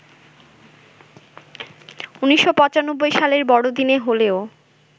১৯৯৫ সালের বড়দিনে হলেও